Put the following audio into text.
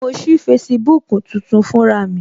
Mo sí Facebook tuntun fún ra mi